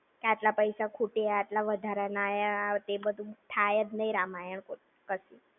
કે આટલા પૈસા ખૂટ્યા, આટલા વધારણ આયા. એ બધું થાય જ નઈ રામાયણ પછી.